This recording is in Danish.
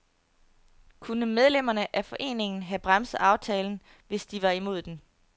Kunne medlemmerne af foreningen have bremset aftalen, hvis de var imod den.